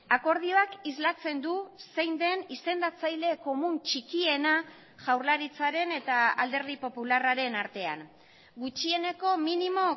akordioak islatzen du zein den izendatzaile komun txikiena jaurlaritzaren eta alderdi popularraren artean gutxieneko minimo